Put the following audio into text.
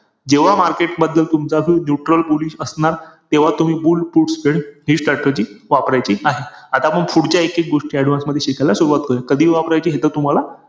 जे आत्तापर्यंत जे कोणत्याच कंपनीने केल नव्हते ते एकमेव jio सिनेमा करते आहे.